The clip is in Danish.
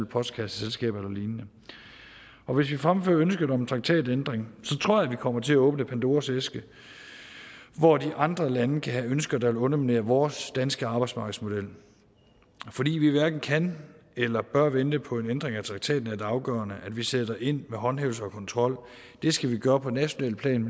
postkasseselskaber og lignende og hvis vi fremfører ønsket om en traktatændring tror jeg vi kommer til at åbne pandoras æske hvor de andre lande kan have ønsker der vil underminere vores danske arbejdsmarkedsmodel fordi vi hverken kan eller bør vente på en ændring af traktaten er det afgørende at vi sætter ind med håndhævelse og kontrol og det skal vi gøre på nationalt plan